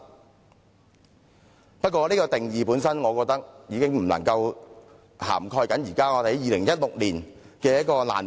不過，我認為這個定義本身已不足以涵蓋2016年的難民問題。